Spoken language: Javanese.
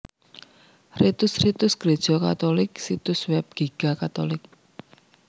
Ritus Ritus Gréja Katulik Situs Web Giga catholic